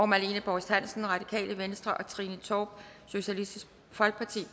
marlene borst hansen og trine torp